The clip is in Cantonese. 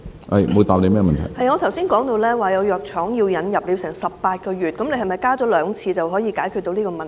我剛才說有藥廠把藥物引入《藥物名冊》需時18個月，是否把檢討增加至兩次就可以解決這個問題？